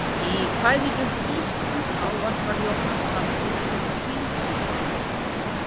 Í kvæðinu Ísland ávarpar Jónas landið sem hrímhvíta